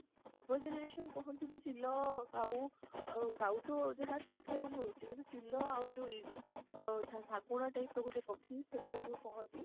ପୂର୍ବ generation କହନ୍ତି ଯେ ବିଲ ଆଉ କାଉ, କାଉ ତ ଯାହା ଦେଖିବାକୁ ମିଳୁଛି ଇ ଅ ସାଗୁଣ type ର ଗୋଟେ ପାଖି ସେଇଗୁଡା ଯୋଉ କହନ୍ତି